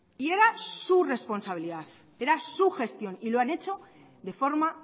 y era su responsabilidad era su gestión y lo han hecho de forma